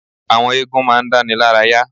Àwọn eégún ma ń dáni lára yá.